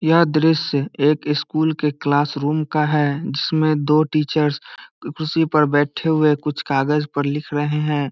यह दृश्य एक इस स्कूल के क्लास रूम का है जिसमे दो टीचर कुर्सी पर बैठे हए कुछ कागज पर लिख रहे हैं।